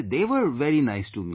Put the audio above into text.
They were very nice to me